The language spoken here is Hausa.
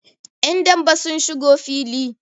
yan dambe sun shigo fili